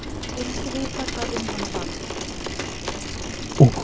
Vildi vita hvað um hana varð.